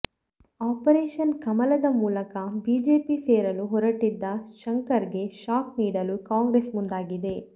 operation ಕಮಲದ ಮೂಲಕ BJP ಸೇರಲು ಹೊರಟಿದ್ದ ಶಂಕರ್ಗೆ ಶಾಕ್ ನೀಡಲು ಕಾಂಗ್ರೆಸ್ ಮುಂದಾಗಿದೆ